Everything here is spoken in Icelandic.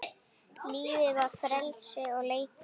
Lífið var frelsi og leikur.